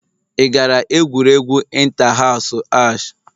Ị gara egwuregwu inta hasu ahj?